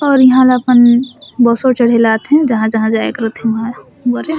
और इहाँ ला अपन बसों चढ़े रहल अथिन जहाँ -जहाँ जाए के रथिन उहा बरे --